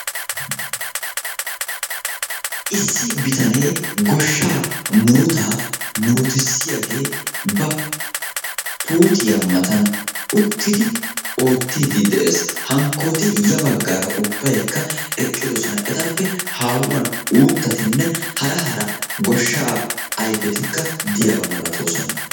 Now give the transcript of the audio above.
issi bitanee goshaa murutaa muruttisiyaagee ba puuttiya matan uttidi oottidi de'ees. hankkooti ha bagaara ubbaykka eqqidosona.